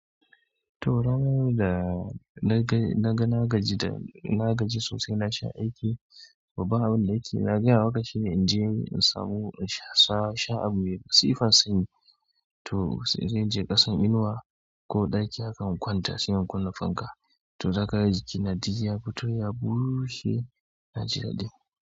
To ranar da na ga na gaji da na gaji sosai na sha aiki, babban aiki na gaya maka shi in je in samu in sha abu mai masifar sanyi. To se inje ƙasan inuwa ko ɗaki haka in kwanta se in kunna fanka to zaka ga jiki na duk, ya fito ya bushe na ji daɗi.